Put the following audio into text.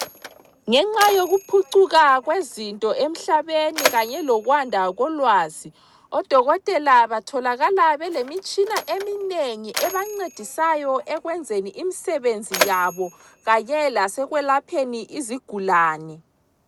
Ngenxa yokuphucuka kwezinto emhlabeni kanye lokwanda kolwazi, odokotela batholakala belemitshina eminengi ebancedisayo ekwenzeni imisebenzi yabo kanye lasekwelapheni izigulane.